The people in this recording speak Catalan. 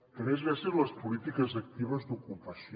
també és gràcies a les polítiques actives d’ocupació